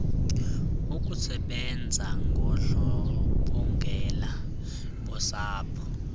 ukusebanza ngondlobongela bosapho